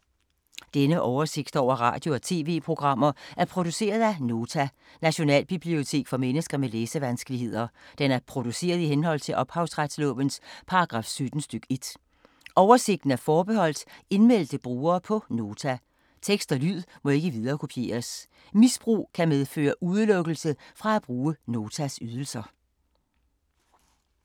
Denne oversigt over radio og TV-programmer er produceret af Nota, Nationalbibliotek for mennesker med læsevanskeligheder. Den er produceret i henhold til ophavsretslovens paragraf 17 stk. 1. Oversigten er forbeholdt indmeldte brugere på Nota. Tekst og lyd må ikke viderekopieres. Misbrug kan medføre udelukkelse fra at bruge Notas ydelser.